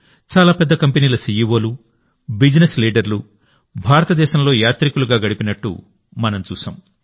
చాలా పెద్ద కంపెనీల సీఈవోలు బిజినెస్ లీడర్లు భారతదేశంలో యాత్రికులుగా గడిపినట్టు మనం చూశాం